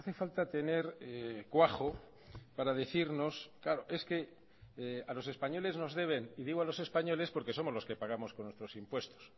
falta tener cuajo para decirnos claro es que a los españoles nos deben y digo a los españoles porque somos los que pagamos con nuestros impuestos